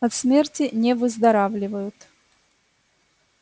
от смерти не выздоравливают